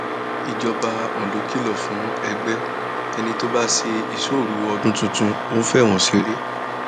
ìjọba ondo kìlọ fún ẹgbẹ ẹni tó bá ṣe ìṣóoru wọnú ọdún tuntun ń fọwọn ṣeré